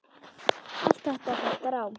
Allt þetta hottar á.